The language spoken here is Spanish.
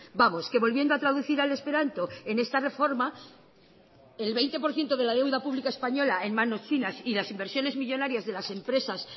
vamos que volviendo a traducir al esperanto en esta reforma el veinte por ciento de la deuda pública española en manos chinas y las inversiones millónarias de las empresas